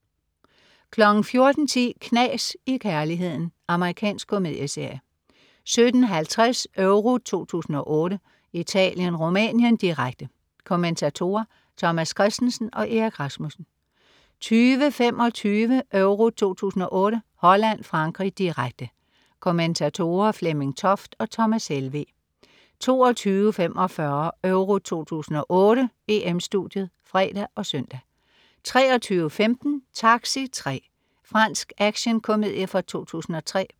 14.10 Knas i kærligheden. Amerikansk komedieserie 17.50 EURO 2008: Italien-Rumænien, direkte. Kommentatorer: Thomas Kristensen og Erik Rasmussen 20.25 EURO 2008: Holland-Frankrig, direkte. Kommentatorer: Flemming Toft og Thomas Helveg 22.45 EURO 2008: EM-Studiet (fre og søn) 23.15 Taxi 3. Fransk actionkomedie fra 2003